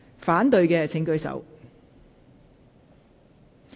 反對的請舉手。